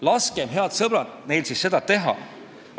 Laskem, head sõbrad, neil siis seda teha!